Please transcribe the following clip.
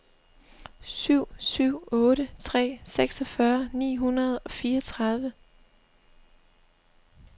syv syv otte tre seksogfyrre ni hundrede og fireogtredive